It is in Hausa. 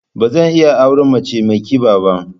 Ba zan iya auren mace mai kiba ba.